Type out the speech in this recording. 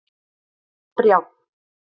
Brjánn